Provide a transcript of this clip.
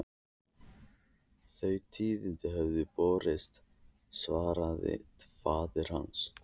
Þau tíðindi höfðu borist, svaraði faðir hans.